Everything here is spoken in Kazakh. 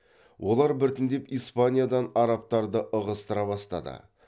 олар біртіндеп испаниядан арабтарды ығыстыра бастады